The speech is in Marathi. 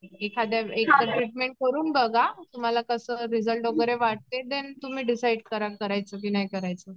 एखाद्या एखादं ट्रीटमेंट करून बघा तुम्हाला कसं रिझल्ट वगैरे वाटते देन तुम्ही डिसाईड करा करायचं की नाही करायचं.